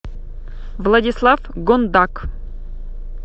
владислав гондак